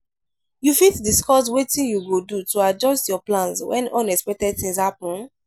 you fit discuss wetin you go do to adjust your plans when unexpected things happen?